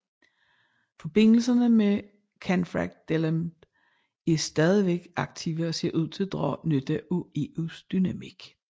Forbindelserne med Canfrancdalenb er stadigvæk aktive og ser ud til at drage nytte af EUs dynamik